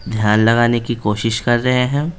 ध्यान लगाने की कोशिश कर रहे हैं।